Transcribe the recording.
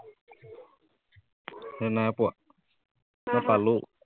চিনি নাই পোৱা, মই পালো।